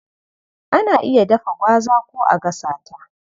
Ana iya dafa gwaza ko a gasa ta.